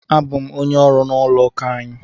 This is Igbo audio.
Abụ m onye ọrụ n'ụlọụka anyị.